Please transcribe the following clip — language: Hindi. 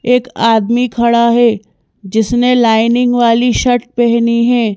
एक आदमी खड़ा है जिसने लाइनिंग वाली शर्ट पहनी है।